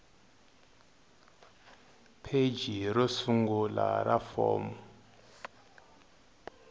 pheji ro sungula ra fomo